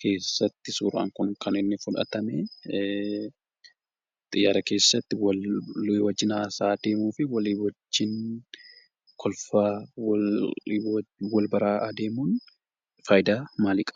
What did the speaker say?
keessatti suuraan kun kan inni fudhatame xiyyaara keessatti kan waliin haasawaanii fi kan walii wajjin kolfaa wal baraa adeemuun fayidaa maalii qaba?